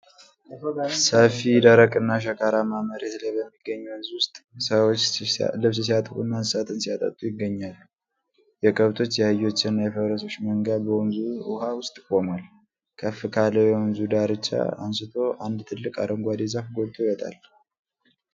ሰፊ፣ ደረቅና ሸካራማ መሬት ላይ በሚገኝ ወንዝ ውስጥ ሰዎች ልብስ ሲያጥቡና እንስሳትን ሲያጠጡ ይገኛሉ። የከብቶች፣ የአህዮችና የፈረሶች መንጋ በወንዙ ውሀ ውስጥ ቆሟል። ከፍ ካለው የወንዙ ዳርቻ አንስቶ አንድ ትልቅ አረንጓዴ ዛፍ ጎልቶ ይወጣል።